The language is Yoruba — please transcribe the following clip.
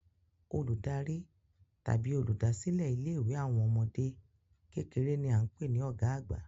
Olùdarí tàbí oluda silẹ ilé ìwé àwọn ọmọdé kékeré ni a n pé ni ọ̀gá àgbà